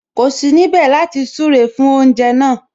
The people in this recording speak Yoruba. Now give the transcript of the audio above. Kò sí níbẹ̀ láti súre fún oúnjẹ náà